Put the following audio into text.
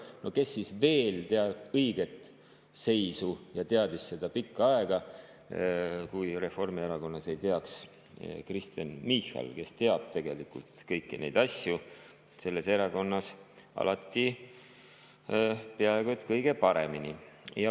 No kes siis veel teab õiget seisu ja teadis seda pikka aega, kui Reformierakonnas mitte Kristen Michal, kes teab tegelikult kõiki neid asju selles erakonnas alati peaaegu et kõige paremini.